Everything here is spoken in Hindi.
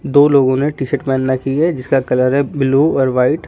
दो लोगों ने टी_शर्ट पहेन रखी है जिसका कलर है ब्लू और व्हाइट ।